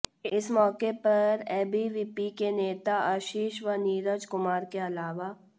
इस मौके पर एबीवीपी के नेता आशीष व नीरज कुमार के अलावा